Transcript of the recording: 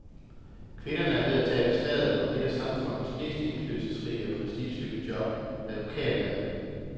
Kvinderne er ved at tabe slaget om et af samfundets mest indflydelsesrige og prestigefyldte job, advokaterhvervet.